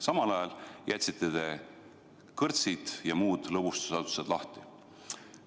Samal ajal jätsite kõrtsid ja muud lõbustusasutused lahti.